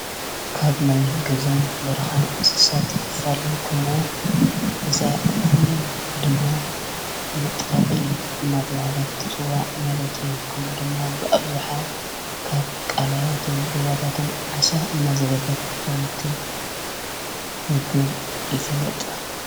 ካብ ናይ ገዛን በራኻን እንስሰት ክፋል ኮይና ዛዕፊ ድማ መጥላቒት እናተብሃለት ጽዋዕ መለትዩ ከምኡ ድማ ብኣብዝሓ ካብ ቃልያትን ብሩዋታትን ዓሳ እናዘበፈት ከምቲምገብ ይፍለጥ፡፡